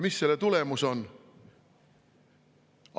Mis selle on?